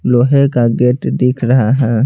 लोहे का गेट दिख रहा है।